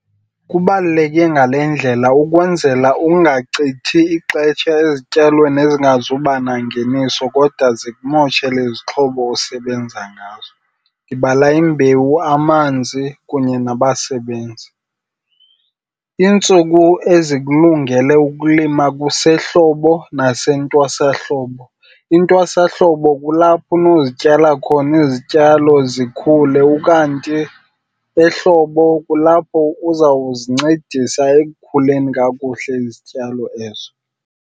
Kubaluleke ngale ndlela. Ukwenzela ungachithi ixesha ezityalweni engazuba nangeniiso kodwa zikumoshele izixhobo osebenza ngazo, ndibala imbewu, amanzi kunye nabasebenzi. Iintsuku ezikulungele ukulima kusehlobo nasentwasahlobo.. Intwasahlobo kulapho unozityala khona izityalo zikhule ukanti ehlobo kulapho uzawuzincedisa ekukhuleni kakuhle izityalo ezo.